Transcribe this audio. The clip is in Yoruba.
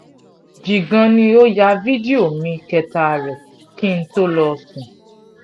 jígan ni ó yá fídíò mi kẹta rèé kí n tóó lọ́ọ́ sùn